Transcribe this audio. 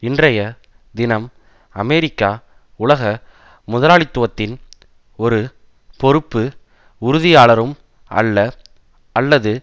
இன்றைய தினம் அமெரிக்கா உலக முதலாளித்துவத்தின் ஒரு பொறுப்பு உறுதியாளரும் அல்ல அல்லது